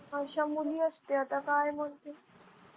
अश्या मुली असत्यात आता काय बोलते